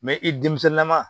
i denmisɛnnama